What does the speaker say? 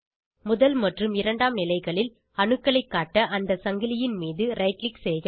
முதல் மற்றும் இரண்டாம் நிலைகளில் அணுக்களைக் காட்ட அந்த சங்கிலியின் மீது ரைட் க்ளிக் செய்க